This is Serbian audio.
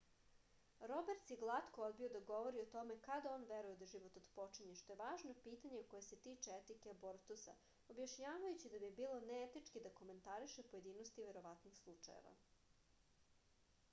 roberts je glatko odbio da govori o tome kada on veruje da život otpočinje što je važno pitanje koje se tiče etike abortusa objašnjavajući da bi bilo neetički da komentariše pojedinosti verovatnih slučajeva